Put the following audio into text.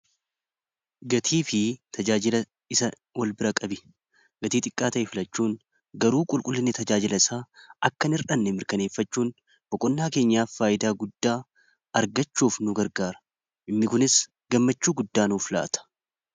Gatii fi tajaajila isaa wal bira qabi gatii xiqqaa ta'e filachuun garuu qulqullinni tajaajila isaa akka hin hir'anne mirkaneeffachuun boqonnaa keenyaaf faayidaa guddaa argachuuf nu gargaara. Inni kunis gammachuu guddaa nuuf laata.